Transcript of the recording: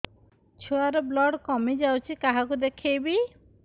ଛୁଆ ର ବ୍ଲଡ଼ କମି ଯାଉଛି କାହାକୁ ଦେଖେଇବି